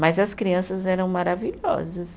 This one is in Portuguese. Mas as crianças eram maravilhosas.